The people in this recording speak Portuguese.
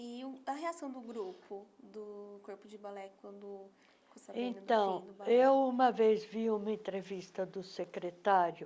E o a reação do grupo, do Corpo de Balé, quando... Eu, uma vez, vi uma entrevista do secretário